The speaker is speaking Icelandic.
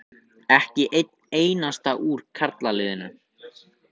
Ekki einn einasta úr karlaliðinu.